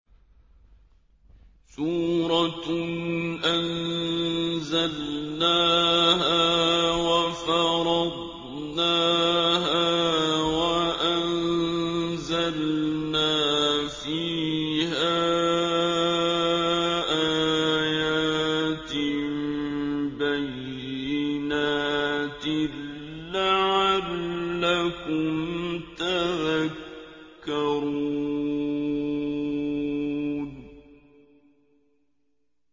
سُورَةٌ أَنزَلْنَاهَا وَفَرَضْنَاهَا وَأَنزَلْنَا فِيهَا آيَاتٍ بَيِّنَاتٍ لَّعَلَّكُمْ تَذَكَّرُونَ